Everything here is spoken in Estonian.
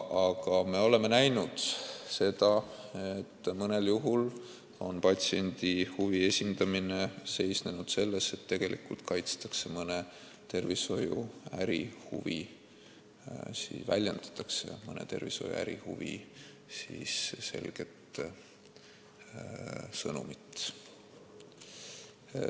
Aga me oleme näinud, et mõnel juhul on patsientide huvide esindamine seisnenud selles, et tegelikult väljendatakse mõne tervishoiu ärihuvi selget sõnumit.